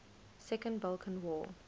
second balkan war